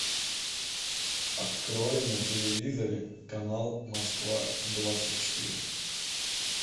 открой на телевизоре канал москва двадцать четыре